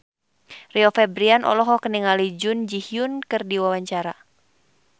Rio Febrian olohok ningali Jun Ji Hyun keur diwawancara